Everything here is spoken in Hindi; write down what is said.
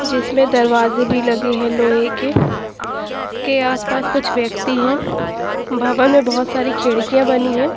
जिसमें दरवाजे भी लगे हैं लोहे के उसके आसपास कुछ व्यक्ति हैं भवन में बहुत सारी खिड़कियां बनी है।